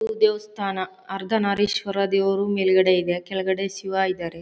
ಇದು ದೇವಸ್ಥಾನ ಅರ್ಧ ನಾರೀಶ್ವರ ದೇವರು ಮೇಲ್ಗಡೆ ಇದೆ ಕೆಳಗಡೆ ಶಿವ ಇದ್ದಾರೆ.